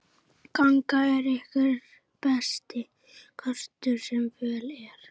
Gangan er einhver besti kostur sem völ er á.